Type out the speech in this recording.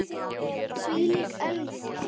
Þvílík elja.